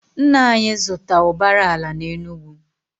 Nna anyị zụta ụbara ala na Enugu.